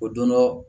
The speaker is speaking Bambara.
O don dɔ